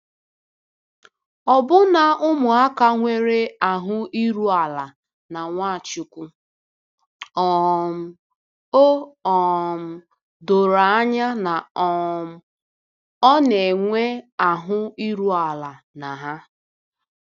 Ọbụna ụmụaka nwere ahụ iru ala na Nwachukwu, um o um doro anya na um ọ na-enwe ahụ iru ala na ha.